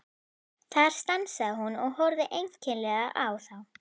Þar stansaði hún og horfði einkennilega á þá.